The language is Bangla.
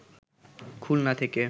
খুলনা থেকে